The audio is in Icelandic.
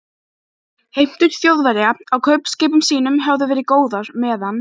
Heimtur Þjóðverja á kaupskipum sínum höfðu verið góðar, meðan